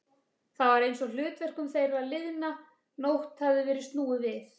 Það var einsog hlutverkum þeirra liðna nótt hefði verið snúið við.